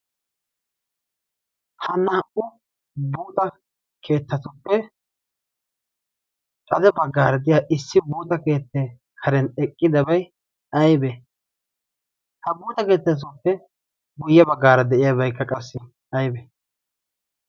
ha naa''u buuta keettatuppe hade baggaara de'iya issi buuta keettae haren eqqidabay aybe ha buuta keettaatuppe guyye baggaara de'iyaabaykka qassi aybe